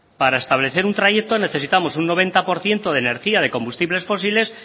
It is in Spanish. para establecer un trayecto necesitamos un noventa por ciento de energía de combustibles fósiles